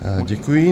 Děkuji.